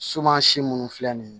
Suman si munnu filɛ nin ye